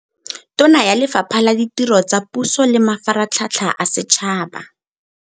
Tona ya Lefapha la Ditiro tsa Puso le Mafaratlhatlha a Setšhaba.